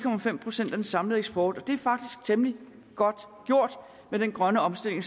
procent af den samlede eksport det er faktisk temmelig godt gjort med den grønne omstilling